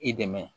I dɛmɛ